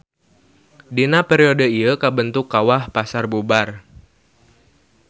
Dina periode ieu kabentuk Kawah Pasarbubar.